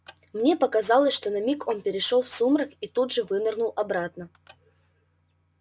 мне показалось что на миг он перешёл в сумрак и тут же вынырнул обратно